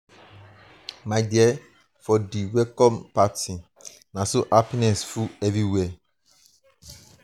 my dear for di welcome party na so happiness full everywhere.